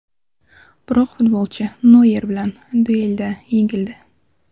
Biroq futbolchi Noyer bilan duelda yengildi.